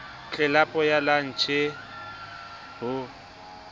tlelapo ya lantjhe b o